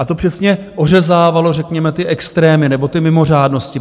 A to přesně ořezávalo řekněme ty extrémy nebo ty mimořádnosti.